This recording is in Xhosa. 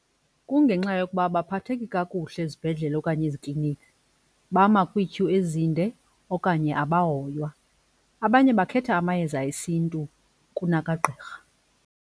Kungenxa yokuba abaphatheki kakuhle ezibhedlele okanye ezikliniki, bama kwiityhu ezinde okanye abahoywa. Abanye bakhetha amayeza esiNtu kunakagqirha.